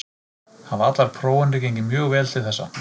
Hafa allar prófanir gengið mjög vel til þessa.